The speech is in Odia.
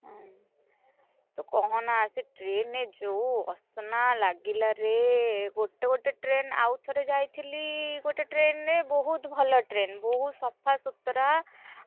ହୁଁ, ତୁ କହନା ସେ train ରେ ଯୋଉ ଅସନା, ଲାଗିଲାରେ? ଗୋଟେ ଗୋଟେ ଟ୍ରେନ ଆଉଥରେ ଯାଇଥିଲି ଗୋଟେ train ରେ ବହୁତ, ଭଲ train ବହୁତ ସଫା, ସୁତୁରା, ।